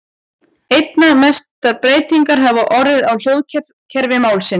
Einna mestar breytingar hafa orðið á hljóðkerfi málsins.